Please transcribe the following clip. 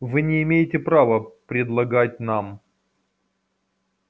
вы не имеете права предлагать нам